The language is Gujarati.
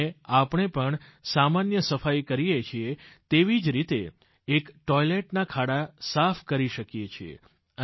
અને આપણે પણ સામાન્ય સફાઈ કરીએ છીયે તેવી જ રીતે એક ટોઈલેટના ખાડા સાફ કરી શકીએ છીએ